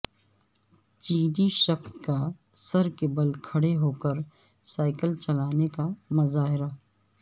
چینی شخص کا سر کے بل کھڑے ہوکر سائیکل چلانے کا مظاہرہ